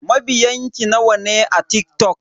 Mabiyan ki nawa ne a TikTok?